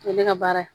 O ye ne ka baara ye